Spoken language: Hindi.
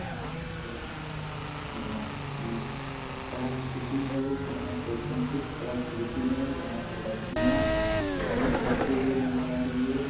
यह एक नट अ कलाकृति है जहां पे संस्कृत कलाकृति है। यहां पे लड़कियां डांस करते हुए नजर आ रही है।